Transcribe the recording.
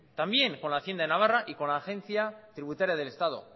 también con la hacienda en navarra y con la agencia tributaria del estado